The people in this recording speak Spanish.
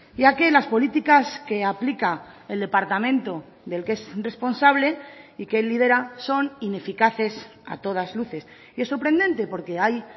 ya que las políticas que aplica el departamento del que es responsable y que él lidera son ineficaces a todas luces y es sorprendente porque hay